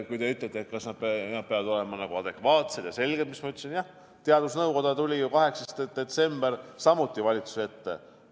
Kui te ütlete, et otsused peavad olema adekvaatsed ja selged, siis ma ütlen ka seda, et jah, teadusnõukoda tuli ju 8. detsembril samuti valitsuse ette.